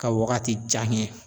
Ka wagati jan kɛ.